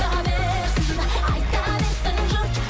айта берсін айта берсін жұрт